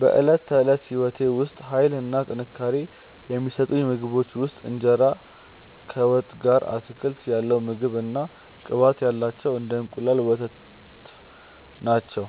በዕለት ተዕለት ሕይወቴ ውስጥ ኃይል እና ጥንካሬ የሚሰጡኝ ምግቦች ውስጥ እንጀራ ከወጥ ጋር፣ አትክልት ያለው ምግብ እና ቅባት ያላቸው እንደ እንቁላል እና ወተት ናቸው።